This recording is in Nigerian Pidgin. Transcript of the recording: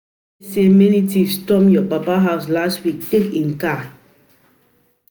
I hear say thieves storm your papa house last week take im car